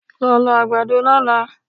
Lọ lọ àgbàdo lọ́la!